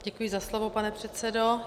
Děkuji za slovo, pane předsedo.